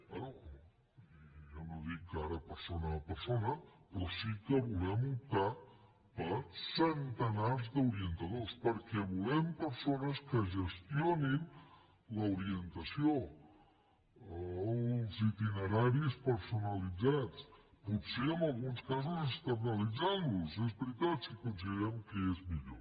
bé jo no dic ara persona a persona però sí que volem optar per centenars d’orientadors perquè volem persones que gestionin l’orientació els itineraris personalitzats potser en alguns casos externalitzant los és veritat si considerem que és millor